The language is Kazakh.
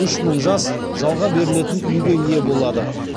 үш мың жас жалға берілетін үйге ие болады